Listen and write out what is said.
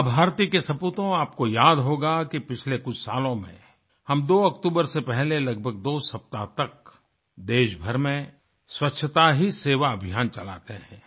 माँ भारती के सपूतों आपको याद होगा कि पिछले कुछ सालों में हम 2 अक्टूबर से पहले लगभग 2 सप्ताह तक देशभर में स्वच्छता ही सेवा अभियान चलाते है